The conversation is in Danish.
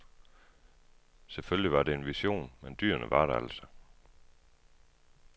Selvfølgelig var det en vision men dyrene var der altså.